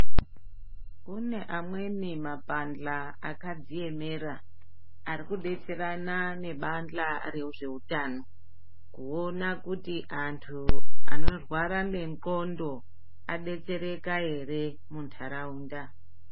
Kune amweni mabandla akadziemera, arikudetserana nebandla rezveutano, kuona kuti antu anorwara ngendxondo adetsereka ere muntaraunda.